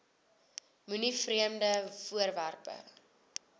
moenie vreemde voorwerpe